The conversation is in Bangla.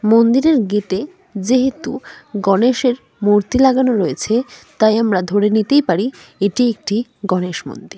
মন্দিরের গেট -এ যেহেতু গণেশের মূর্তি লাগানো রয়েছে তাই আমরা ধরে নিতেই পারি এটি একটি গনেশ মন্দির।